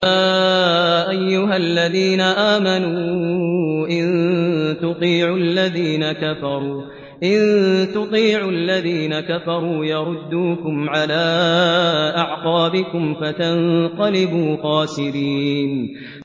يَا أَيُّهَا الَّذِينَ آمَنُوا إِن تُطِيعُوا الَّذِينَ كَفَرُوا يَرُدُّوكُمْ عَلَىٰ أَعْقَابِكُمْ فَتَنقَلِبُوا خَاسِرِينَ